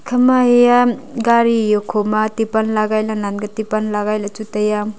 ham ma eya gari okhoma tipan lagai ley nannan tipan lagai le chu taiya.